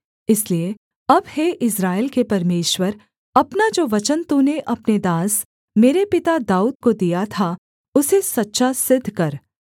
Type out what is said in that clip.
इसलिए अब हे इस्राएल के परमेश्वर अपना जो वचन तूने अपने दास मेरे पिता दाऊद को दिया था उसे सच्चा सिद्ध कर